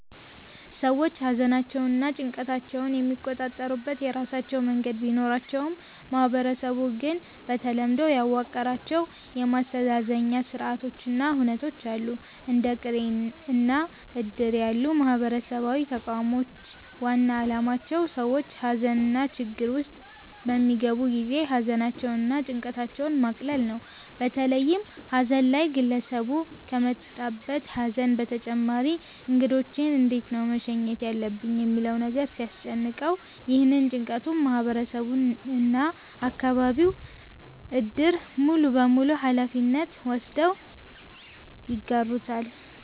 ሰዎች ሃዘናቸውንና ጭንቀታቸውን የሚቆጣጠሩበት የራሳቸው መንገድ ቢኖራቸውም ማህበረሰቡ ግን በተለምዶ ያዋቀራቸው የማስተዛዘኛ ስርአቶች እና ሁነቶች አሉ። እንደ ቅሬ እና እድር ያሉ ማህበራዊ ተቋሞች ዋና አላማቸው ሰዎች ሃዘንና ችግር ውስጥ በሚገቡ ጊዜ ሃዘናቸውን እና ጭንቀታቸውን ማቅለል ነው። በተለይም ሃዘን ላይ ግለሰቡ ከመጣበት ሃዘን በተጨማሪ እንግዶቼን እንዴት ነው መሸኘት ያለብኝ ሚለው ነገር ሲያስጨንቀው፤ ይህንን ጭንቀቱን ማህበረሰቡ እና የአከባቢው እድር ሙሉበሙሉ ሃላፊነት ወስደው ይጋሩታል።